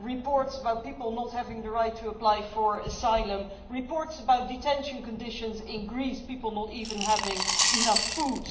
reports about people not having the right to apply for asylum reports about detention conditions in Greece and people not even having enough food.